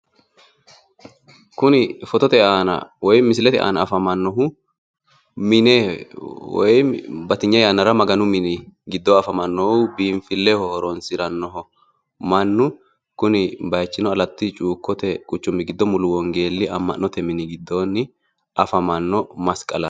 Kuni misilete aana afamannohu Maganu mini giddoonni biinfilleho horonsirannoha ikanna kunino Alatta cuukkote mulu wongeelle amma'note mini giddoonni afamanno masqalaati.